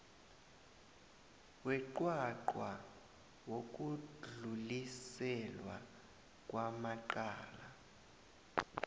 weqwaqwa wokudluliselwa kwamacala